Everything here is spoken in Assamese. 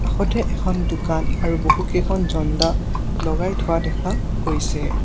কাষতে এখন দোকান আৰু বহুকেইখন ঝণ্ডা লগাই থোৱা দেখা গৈছে।